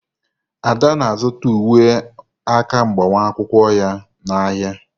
Ada na-azụta uwe aka agbamakwụkwọ ya n'ahịa.